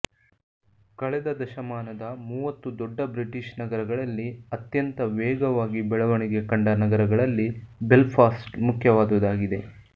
ಕಳೆದ ದಶಮಾನದ ಮೂವತ್ತು ದೊಡ್ಡ ಬ್ರಿಟೀಷ್ ನಗರಗಳಲ್ಲಿ ಅತ್ಯಂತ ವೇಗವಾಗಿ ಬೆಳಣಿಗೆ ಕಂಡ ನಗರಗಳಲ್ಲಿ ಬೆಲ್ಫಾಸ್ಟ್ ಮುಖ್ಯವಾದುದಾಗಿದೆ